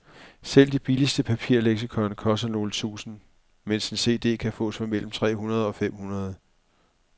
Selv det billigste papirleksikon koster nogle tusinde, mens en cd kan fås for mellem tre hundrede og fem hundrede.